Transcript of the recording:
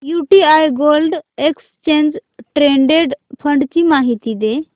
UTI gold exchange traded fund ची माहिती दे